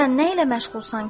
Sən nə ilə məşğulsan ki?